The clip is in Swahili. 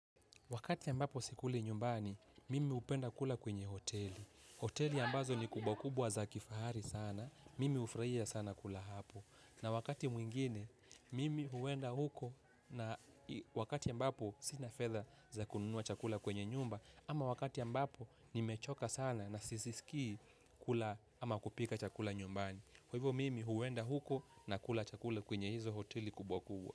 Wakati ambapo sikuli nyumbani, mimi hupenda kula kwenye hoteli. Hoteli ambazo ni kubwa kubwa za kifahari sana, mimi hufurahia sana kula hapo. Na wakati mwingine, mimi huenda huko na wakati ambapo sina fedha za kununua chakula kwenye nyumba. Ama wakati ambapo, ni mechoka sana na sijisiki kula ama kupika chakula nyumbani. Hivyo mimi huenda huko na kula chakula kwenye hizo hoteli kubwa kubwa.